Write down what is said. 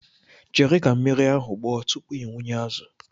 Chere ka mmiri ahụ gbọọ tupu ị wụnye azụ.